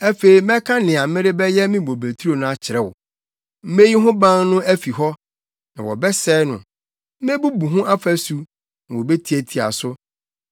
Afei mɛka nea merebɛyɛ me bobeturo no akyerɛ wo: Meyi ho ban no afi hɔ, na wɔbɛsɛe no; mebubu ho ɔfasu, na wobetiatia so.